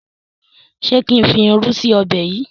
ṣe kín fí ìrù sí Ọbẹ̀ yí?